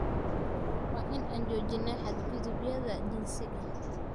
Waa inaan joojinaa xadgudubyada jinsiga.